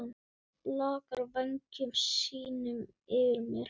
Blakar vængjum sínum yfir mér.